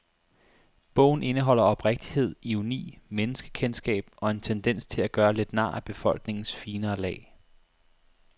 Bogen indeholder oprigtighed, ironi, menneskekendskab og en tendens til at gøre lidt nar af befolkningens finere lag.